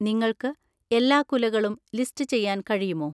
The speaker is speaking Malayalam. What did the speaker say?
നിങ്ങൾക്ക് എല്ലാ കുലകളും ലിസ്റ്റ് ചെയ്യാൻ കഴിയുമോ?